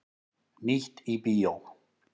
Nýtt í bíó